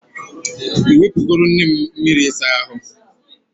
I nwepugoro nne m miri isa ahu?